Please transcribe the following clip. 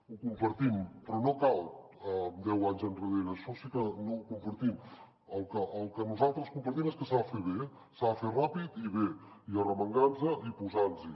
ho compartim però no cal deu anys enrere això sí que no ho compartim el que nosaltres compartim és que s’ha de fer bé s’ha de fer ràpid i bé i arremangar nos i posar nos hi